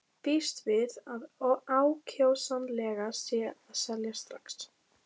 Býst við að ákjósanlegast sé að selja strax.